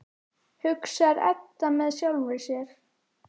hugsar Edda með sjálfri sér.